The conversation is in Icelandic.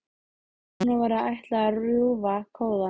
Að honum væri ætlað að rjúfa kóðann.